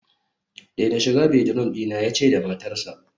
daina shiga bedroom dina, yace da matarsa